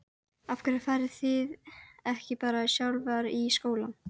Af hverju fariði ekki bara sjálfar í skóla?